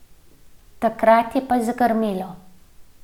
Takrat je pa zagrmelo.